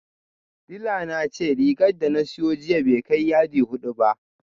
Dila na ce rigar da na siyo jiya bai kai yadi hudu ba